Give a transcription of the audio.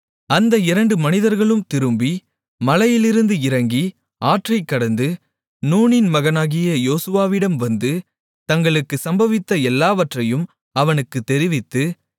அந்த இரண்டு மனிதர்களும் திரும்பி மலையிலிருந்து இறங்கி ஆற்றைக்கடந்து நூனின் மகனாகிய யோசுவாவிடம் வந்து தங்களுக்கு சம்பவித்த எல்லாவற்றையும் அவனுக்குத் தெரிவித்து